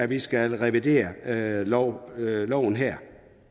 vi skal revidere loven loven her